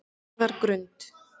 Njarðargrund